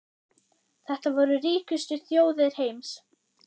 Þetta voru ríkustu þjóðir heims.